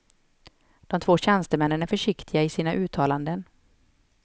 De två tjänstemännen är försiktiga i sina uttalanden.